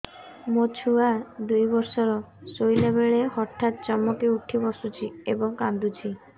ମୋ ଛୁଆ ଦୁଇ ବର୍ଷର ଶୋଇଲା ବେଳେ ହଠାତ୍ ଚମକି ଉଠି ବସୁଛି ଏବଂ କାଂଦୁଛି